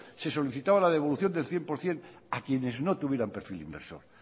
se solicitaba la devolución del cien por ciento a quienes no tuvieran perfil inversor